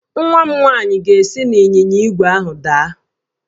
Nwa m nwanyị ga-esi n'ịnyịnya ígwè ahụ daa